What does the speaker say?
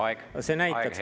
Aeg, hea kolleeg!